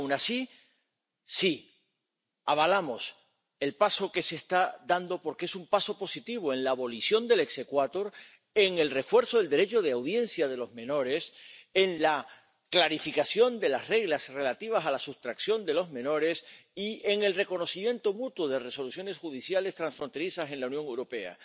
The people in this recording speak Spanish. Y, aun así, sí, avalamos el paso que se está dando, porque es un paso positivo en la abolición del exequatur en el refuerzo del derecho de audiencia de los menores, en la clarificación de las reglas relativas a la sustracción de los menores y en el reconocimiento mutuo de resoluciones judiciales transfronterizas en la Unión Europea.